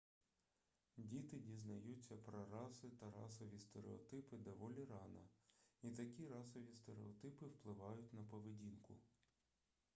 діти дізнаються про раси та расові стереотипи доволі рано і такі расові стереотипи впливають на поведінку